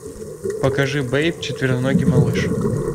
покажи бэйб четвероногий малыш